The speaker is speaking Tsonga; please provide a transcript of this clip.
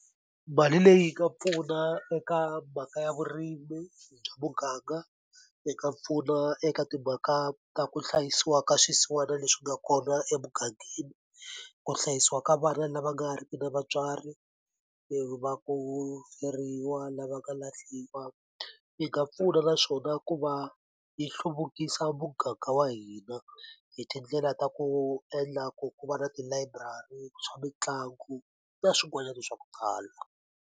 Mali leyi nga pfuna eka mhaka ya vurimi bya muganga yi pfuna eka timhaka ta ku hlayisiwa ka swisiwana leswi nga kona emugangeni ku hlayisiwa ka vana lava nga riki na vatswari va ku feriwa lava nga lahliwa yi nga pfuna naswona ku va yi hluvukisa muganga wa hina hi tindlela ta ku endla ku ku va na tilayiburari swa mitlangu na swin'wanyani swa ku tala.